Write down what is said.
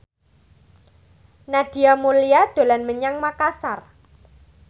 Nadia Mulya dolan menyang Makasar